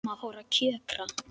Mamma fór að kjökra.